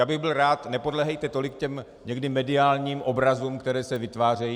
Já bych byl rád, nepodléhejte tolik těm někdy mediálním obrazům, které se vytvářejí.